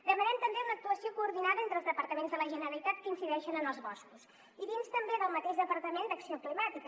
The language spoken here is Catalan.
demanem també una actuació coordinada entre els departaments de la generalitat que incideixen en els boscos i dins també del mateix departament d’acció climàtica